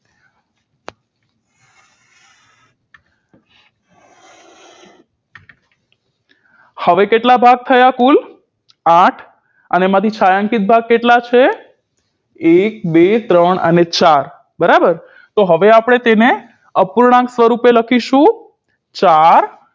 હવે કેટલા ભાગ થયા કુલ આઠ અને મારી છાંયાંકીત ભાગ કેટલા છે એક બે ત્રણ અને ચાર બરાબર તો હવે આપણે તેને અપૂર્ણાંક સ્વરુપે લખીશું ચાર